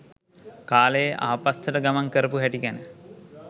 කාලයේ ආපස්සට ගමන් කරපු හැටි ගැන.